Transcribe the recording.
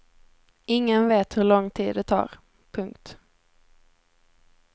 Ingen vet hur lång tid det tar. punkt